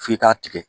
F'i k'a tigɛ